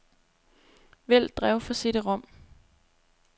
Vælg drev for cd-rom.